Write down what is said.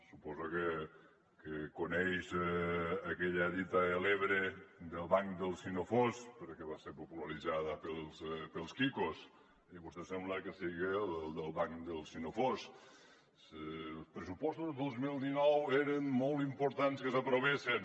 suposo que coneix aquella dita de l’ebre del banc del si no fos perquè va ser popularitzada per els quicos i vostè sembla que siga del banc del si no fos els pressupostos del dos mil dinou era molt important que s’aprovessen